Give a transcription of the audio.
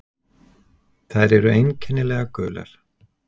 Þær eru einkennilega gular.